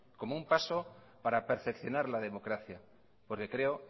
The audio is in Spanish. como un paso para perfeccionar la democracia porque creo